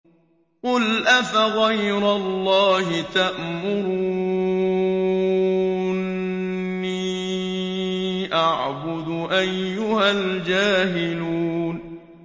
قُلْ أَفَغَيْرَ اللَّهِ تَأْمُرُونِّي أَعْبُدُ أَيُّهَا الْجَاهِلُونَ